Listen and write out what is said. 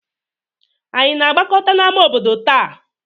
Ànyị na-agbakọta n'ámá obodo taa?